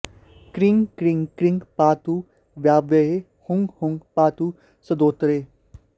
cream क्रीं क्रीं पातु वायव्ये हूँ हूँ पातु सदोत्तरे